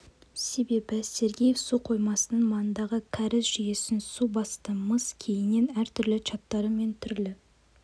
себебі сергеев су қоймасының маңындағы кәріз жүйесін су басты мыс кейіннен әртүрлі чаттары мен түрлі